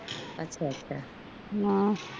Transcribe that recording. ਅੱਛਾ ਅੱਛਾ